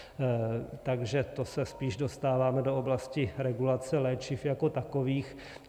Takže to se spíše dostáváme do oblasti regulace léčiv jako takových.